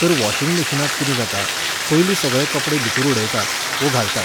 तर वॉशिंग मशीनांत कितें जाता, पयलीं सगळे कपडे भितूर उडयतात, वो घालतात